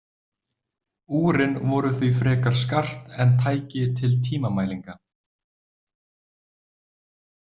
Úrin voru því frekar skart en tæki til tímamælinga.